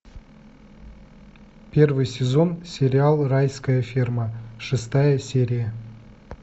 первый сезон сериал райская ферма шестая серия